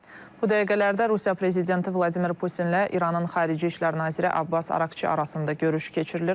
Bu dəqiqələrdə Rusiya prezidenti Vladimir Putinlə İranın xarici İşlər naziri Abbas Araqçı arasında görüş keçirilir.